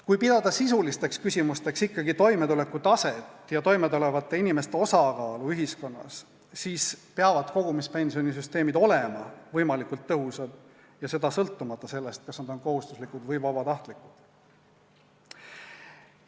Kui pidada sisulisteks küsimusteks ikkagi toimetuleku taset ja toimetulevate inimeste osakaalu ühiskonnas, peavad kogumispensionisüsteemid olema võimalikult tõhusad ja seda sõltumata sellest, kas need on kohustuslikud või vabatahtlikud.